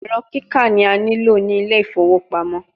Ẹrọ kika ni a nilo ni Ile ifowo pamo